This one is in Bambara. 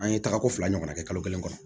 An ye taga ko fila ɲɔgɔnna kɛ kalo kelen kɔnɔ